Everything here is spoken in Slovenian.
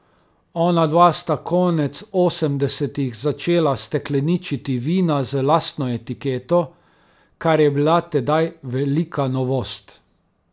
Onadva sta konec osemdesetih začela stekleničiti vina z lastno etiketo, kar je bila tedaj velika novost.